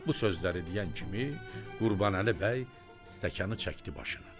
Bu sözləri deyən kimi Qurbanəli bəy stəkanı çəkdi başına.